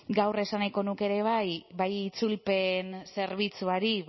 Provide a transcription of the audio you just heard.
gaur esan nahiko nuke ere bai itzulpen zerbitzuari